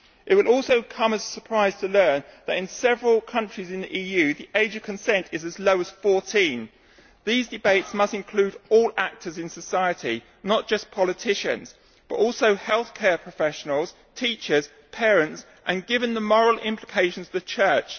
It will also come as a surprise to learn that in several countries in the EU the age of consent is as low as fourteen. These debates must include all actors in society not just politicians, but also healthcare professionals, teachers, parents and, given the moral implications, the Church.